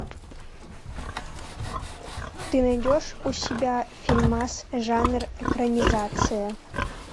ты найдешь у себя фильмас жанр экранизация